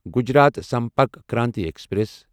Gujarat Sampark Kranti express